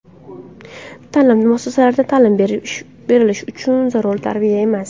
Ta’lim muassasalarida ta’lim berilishi zarur, tarbiya emas.